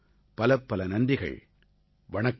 பலப்பல நன்றிகள் வணக்கம்